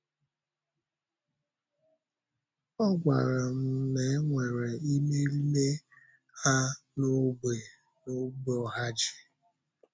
Ọ gwara m na e nwere ịmèrìme ha n’ógbè n’ógbè Ohāji.